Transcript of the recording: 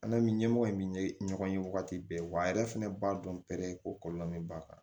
An' mi ɲɛmɔgɔ in bi ɲɔgɔn ye wagati bɛɛ wa a yɛrɛ fɛnɛ b'a dɔn ko kɔlɔlɔ min b'a kan